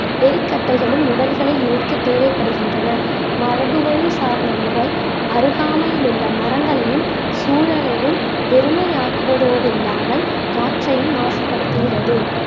எரிக்கட்டைகளும், உடல்களை எரிக்க தேவைப்படுகின்றன மரபு வழி சார்ந்த முறை அருகாமையில் உள்ள மரங்களையும் சூழலையும் பெருமையாக்குவதோடு இல்லாமல் காற்றையும் மாசப்படுத்துகிறது